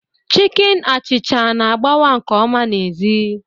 Chicken achịcha na-agbawa nke ọma n'èzí.